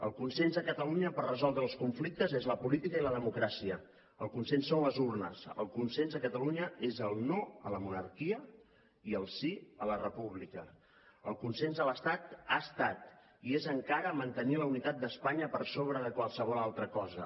el consens a catalunya per resoldre els conflictes és la política i la democràcia el consens són les urnes el consens a catalunya és el no a la monarquia i el sí a la república el consens a l’estat ha estat i és encara mantenir la unitat d’espanya per sobre de qualsevol altra cosa